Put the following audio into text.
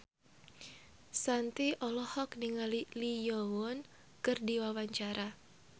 Shanti olohok ningali Lee Yo Won keur diwawancara